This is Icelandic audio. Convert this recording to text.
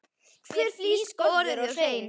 Hver flís skorðuð og hrein.